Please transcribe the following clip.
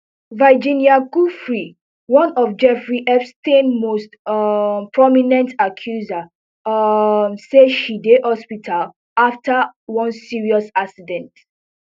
virginia giuffre one of jeffrey epstein most um prominent accusers um say she dey hospital after one serious accident